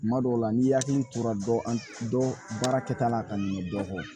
Kuma dɔw la n'i hakili tora dɔ baara kɛta la ka ɲɛ dɔ kɔ